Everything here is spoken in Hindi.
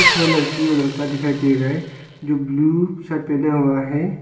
लड़की और लड़का दिखाई दे रहा है जो ब्लू शर्ट पहना हुआ है।